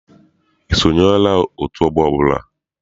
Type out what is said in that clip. I sonyela otu ọgbọ ọbụla?